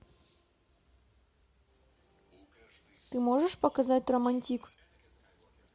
ты можешь показать романтик